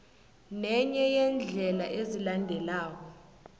nenye yeendlela ezilandelako